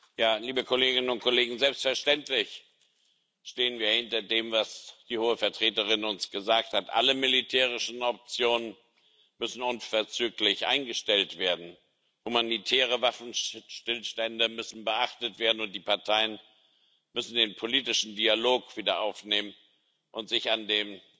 Frau Präsidentin, liebe Kolleginnen und Kollegen! Selbstverständlich stehen wir hinter dem, was die Hohe Vertreterin uns gesagt hat Alle militärischen Optionen müssen unverzüglich eingestellt werden, humanitäre Waffenstillstände müssen beachtet werden, und die Parteien müssen den politischen Dialog wieder aufnehmen und sich an dem